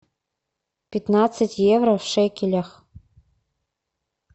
пятнадцать евро в шекелях